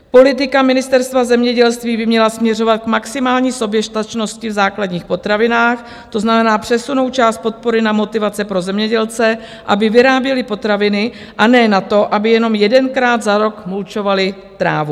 Politika Ministerstva zemědělství by měla směřovat k maximální soběstačnosti v základních potravinách, to znamená přesunout část podpory na motivace pro zemědělce, aby vyráběli potraviny, a ne na to, aby jenom jedenkrát za rok mulčovali trávu.